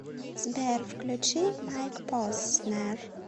сбер включи майк поснер